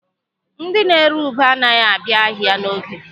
Ndị na-ere ube anaghị abịa ahịa n'oge.